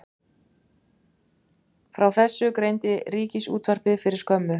Frá þessu greindi Ríkissjónvarpið fyrir skömmu